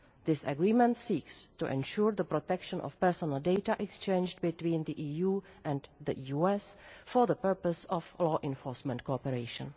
This agreement seeks to ensure the protection of personal data exchanged between the EU and the US for the purpose of law enforcement cooperation.